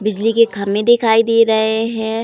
बिजली के खम्मे दिखाई दिए जा रहे हैं।